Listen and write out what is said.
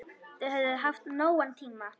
Þau höfðu haft nógan tíma.